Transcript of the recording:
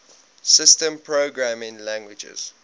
systems programming languages